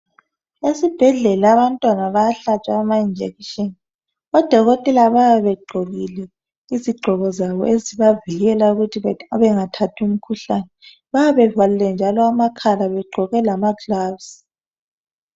Esibhedlela abantwana bayahlatshwa amajekiseni odokotela bayabe begqokile izigqoko zabo ezibavikelayo ukuthi bengathathi umkhuhlane bayabe bevalile njalo amakhala begqoke lamagilovisi